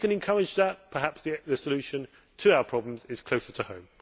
If we can encourage that, perhaps the solution to our problems is closer to home.